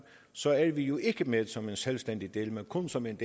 så er vi ikke med som en selvstændig del men kun som en